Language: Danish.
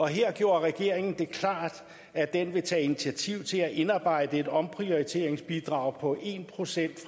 her gjorde regeringen det klart at den vil tage initiativ til at indarbejde et omprioriteringsbidrag på en procent